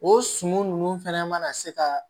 O suman ninnu fɛnɛ mana se ka